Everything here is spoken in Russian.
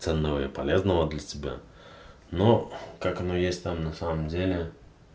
ценного и полезного для себя но как оно есть там на самом деле